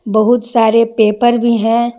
बहुत सारे पेपर भी हैं।